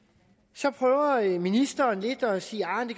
så prøver ministeren lidt at sige